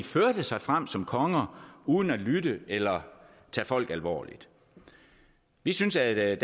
sig frem som konger uden at lytte eller tage folk alvorligt vi synes at